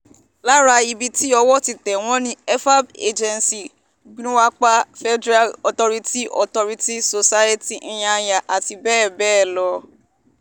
lára ibi tí owó ti tẹ̀ wọ́n ni efab agency gwaripa federal authority authority society nyanya àti bẹ́ẹ̀ bẹ́ẹ̀ lọ